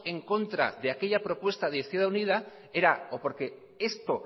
en contra de aquella propuesta de izquierda unida era o porque esto